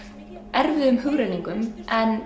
erfiðum hugrenningum en